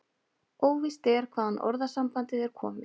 Óvíst er hvaðan orðasambandið er komið.